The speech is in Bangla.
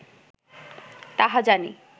তাহা জানি